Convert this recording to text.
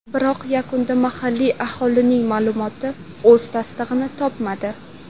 Biroq yakunda mahalliy aholining ma’lumoti o‘z tasdig‘ini topmadi.